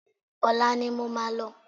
Olá ni mo máa lọ